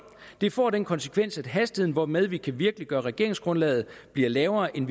det får den konsekvens at hastigheden hvormed man kan virkeliggøre regeringsgrundlaget bliver lavere end